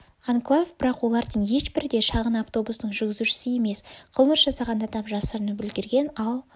анклав бірақ олардың ешбірі де шағын автобустың жүргізушісі емес қылмыс жасаған адам жасырынып үлгерген ал